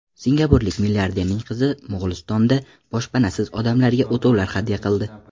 Singapurlik milliarderning qizi Mo‘g‘ulistonda boshpanasiz odamlarga o‘tovlar hadya qildi .